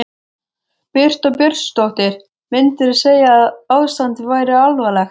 Birta Björnsdóttir: Myndirðu segja að ástandið væri alvarlegt?